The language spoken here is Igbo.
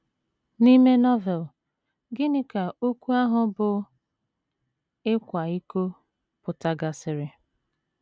N’ime Novel, gịnị ka okwu ahụ bụ́ “ ịkwa iko ” pụtagasịrị?